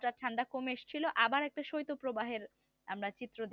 যা ঠান্ডা কম এসেছিল আবার একটা শৈত প্রবাহের আমরা চিত্র